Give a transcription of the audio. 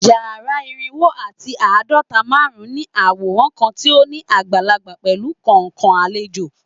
Yara irinwo ati aadọta -marun ní aworan kan ti o ni agbalagba pẹlu kọọkan alejo